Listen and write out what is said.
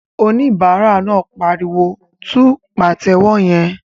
Oníbàárà náà pariwo "tú pàtẹ́wọ́ yẹn!"